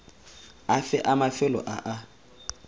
afe a mafelo a a